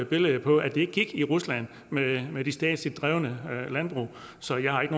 billede på at det ikke gik i rusland med med de statsligt drevne landbrug så jeg har ikke